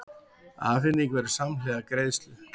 Afhending verður samhliða greiðslu